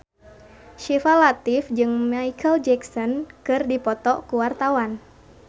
Syifa Latief jeung Micheal Jackson keur dipoto ku wartawan